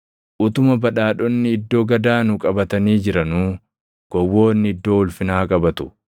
Utuma badhaadhonni iddoo gad aanu qabatanii jiranuu, gowwoonni iddoo ulfinaa qabatu.